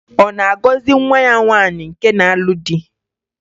Ọ na-agọzị nwa ya nwaanyị nke na-alụ di?